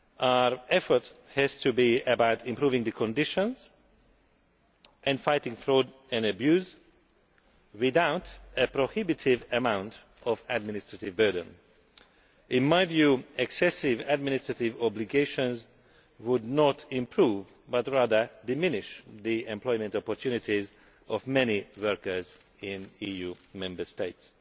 Our effort has to be about improving conditions and fighting fraud and abuse without a prohibitive amount of administrative burden. In my view, excessive administrative obligations would not improve, but rather diminish, the employment opportunities of many workers in EU Member States.